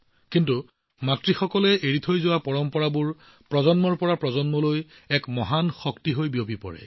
কিন্তু মাতৃয়ে এৰি যোৱা পৰম্পৰাবোৰ প্ৰজন্মৰ পৰা প্ৰজন্মলৈ এক ডাঙৰ শক্তি হৈ পৰে